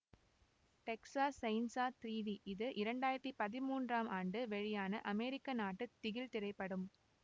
Texas chainsaw three D இது இரண்டு ஆயிரத்தி பதிமூன்றாம் ஆண்டு வெளியான அமெரிக்கா நாட்டு திகில் திரைப்படம்